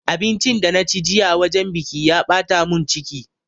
Abincin da na ci jiya wajen biƙi ya ɓata mun ciki